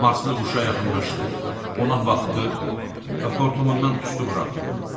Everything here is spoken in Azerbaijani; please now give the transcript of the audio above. Marslı quşa yaxınlaşdı, ona baxdı və xortumundan tüstü buraxdı.